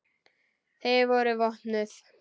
Þau voru vopnuð.